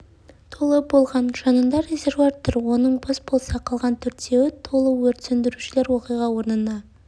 толы болған жанында резервуар тұр оның бос болса қалған төртеуі толы өрт сөндірушілер оқиға орнына